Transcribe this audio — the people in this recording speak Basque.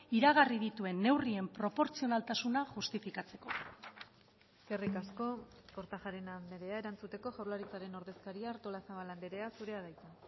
iragarri dituen neurrien proportzionaltasuna justifikatzeko eskerrik asko kortajarena andrea erantzuteko jaurlaritzaren ordezkaria artolazabal andrea zurea da hitza